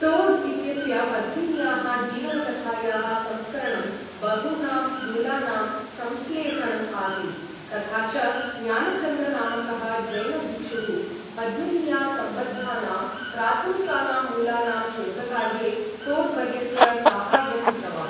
टोड् इत्यस्य पद्मिन्याः जीवनकथायाः संस्करणं बहूनां मूलानां संश्लेषणम् आसीत् तथा च ज्ञानचन्द्र नामकः जैनभिक्षुः पद्मिन्या सम्बद्धानां प्राथमिकानां मूलानां शोधकार्ये टोड् वर्यस्य साहाय्यं कृतवान्।